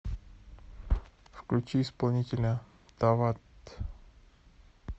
включи исполнителя тават